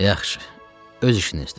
Yaxşı, öz işinizdir.